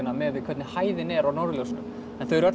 miðað við hvernig hæðin er á norðurljósunum en þau eru öll